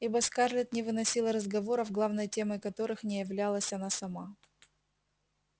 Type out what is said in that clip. ибо скарлетт не выносила разговоров главной темой которых не являлась она сама